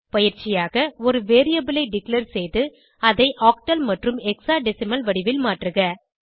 பயிற்சியாக ஒரு வேரியபிள் ஐ டிக்ளேர் செய்து அதை ஆக்டல் மற்றும் ஹெக்ஸாடெசிமல் வடிவில் மாற்றுக